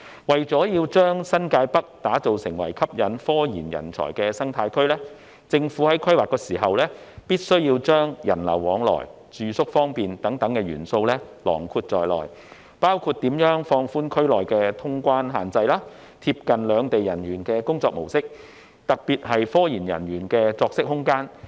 為了將新界北打造為吸引科研人才的生態區，政府在規劃時必須加入人流往來及住宿方便等元素，包括如何放寬區內的通關限制，貼近兩地人員的工作模式，特別是科研人員的作息空間。